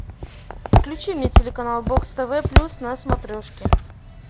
включи мне телеканал бокс тв плюс на смотрешке